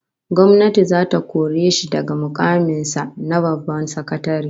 Gwamnati zata kore shi daga mukamin sa na babban sakatare